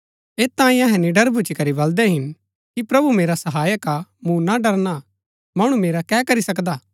ऐत तांई अहै निडर भूच्ची करी बलदै हिन कि प्रभु मेरा सहायक हा मूँ ना डरना हा मणु मेरा कै करी सकदा